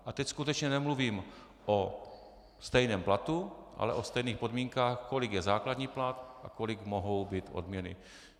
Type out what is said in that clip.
A teď skutečně nemluvím o stejném platu, ale o stejných podmínkách, kolik je základní plat a kolik mohou být odměny.